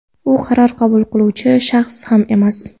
u qaror qabul qiluvchi shaxs ham emas.